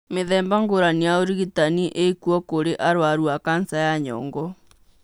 Mĩthemba ngũrani ya ũrigitani ĩkuo kũrĩ arũaru a kanca ya nyongo.